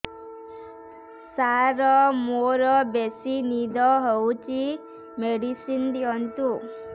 ସାର ମୋରୋ ବେସି ନିଦ ହଉଚି ମେଡିସିନ ଦିଅନ୍ତୁ